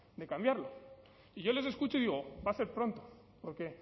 de cambiarlo y yo les escucho y digo va a ser pronto porque